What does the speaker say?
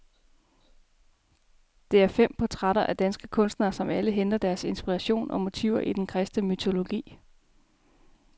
Det er fem portrætter af danske kunstnere, som alle henter deres inspiration og motiver i den kristne mytologi.